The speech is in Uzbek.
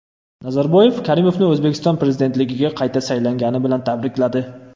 Nazarboyev Karimovni O‘zbekiston prezidentligiga qayta saylangani bilan tabrikladi.